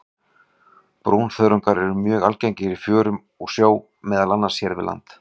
Brúnþörungar eru mjög algengir í fjörum og sjó, meðal annars hér við land.